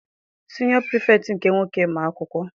Siniọ pirifektị nke nwoke ma akwụkwọ.